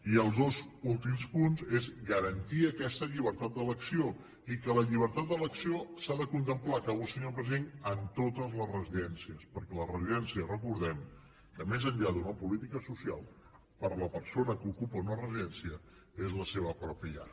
i els dos últims punts són garantir aquesta llibertat d’elecció i que la llibertat d’elecció s’ha de contemplar acabo senyor president en totes les residències perquè les residències recordem que més enllà d’una política social per a la persona que ocupa una residència són la seva pròpia llar